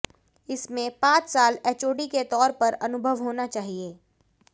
इसमें पांच साल एचओडी के तौर पर अनुभव होना चाहिए